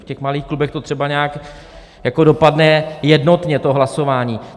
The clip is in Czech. V těch malých klubech to třeba nějak jako dopadne jednotně, to hlasování.